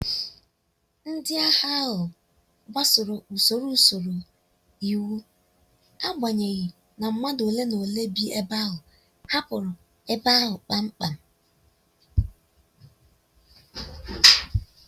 ndị agha ahu gbasoro usoro usoro iwu agbanyeghi na madu ole na ole bi ebe ahụ hapụrụ ebe ahu kpam kpam